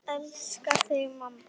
Elska þig, mamma.